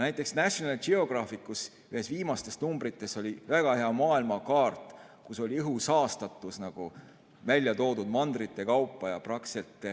Näiteks oli National Geographicu ühes viimastest numbritest väga hea maailma kaart, kus oli välja toodud õhu saastatus mandrite kaupa.